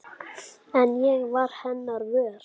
En ég varð hennar vör.